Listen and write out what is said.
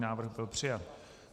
Návrh byl přijat.